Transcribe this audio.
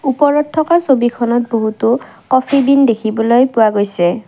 ওপৰত থকা ছবিখনত বহুতো কফি বিন দেখিবলৈ পোৱা গৈছে।